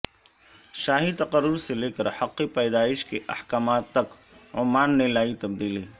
شاہی تقرر سے لے کر حق پیدائش کے احکامات تک عمان نے لائی تبدیلی